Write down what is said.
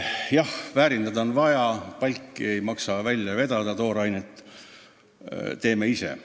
Jah, väärindada on vaja, palki ei maksa välja vedada, toorainet teeme ise.